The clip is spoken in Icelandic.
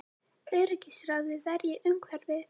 Öryggisráðið verji umhverfið